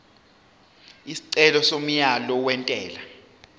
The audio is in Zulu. isicelo somyalo wentela